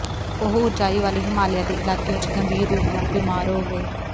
ਉਹ ਉੱਚਾਈ ਵਾਲੇ ਹਿਮਾਲਿਆ ਦੇ ਇਲਾਕੇ ਵਿੱਚ ਗੰਭੀਰ ਰੂਪ ਨਾਲ ਬੀਮਾਰ ਹੋ ਗਏ